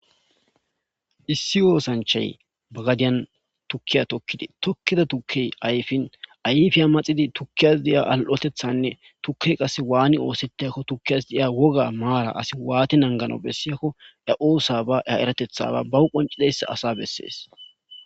Issi osanchay ba gadiya tukiya tokid tokida tukey ayfin ayfiya maxid tukiyas diya al'otethanne tukey qas waan osetiyakko tukiyas diya woga mara asi wan nanganaw besiyakko awu de'iya mara , wogatethaba bawu de'iyaba asa beses.